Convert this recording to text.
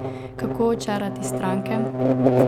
Kako očarati stranke?